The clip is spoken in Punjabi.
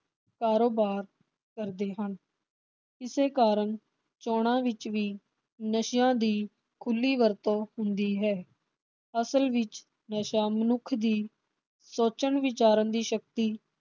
ਕਾਰੋਬਾਰ ਕਰਦੇ ਹਨ। ਇਸੇ ਕਾਰਨ ਚੋਣਾਂ ਵਿਚ ਵੀ ਨਸ਼ਿਆਂ ਦੀ ਖੁਲੀ ਵਰਤੋਂ ਹੁੰਦੀ ਹੈ। ਅਸਲ ਵਿਚ ਨਸ਼ਾ ਮਨੁੱਖ ਦੀ ਸੋਚਣ ਵਿਚਾਰਨ ਦੀ ਸ਼ਕਤੀ